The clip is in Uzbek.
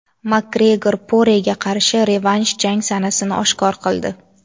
Makgregor Porega qarshi revansh jang sanasini oshkor qildi.